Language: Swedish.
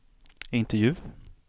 intervju